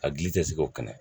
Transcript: A gili tɛ se k'o kɛnɛ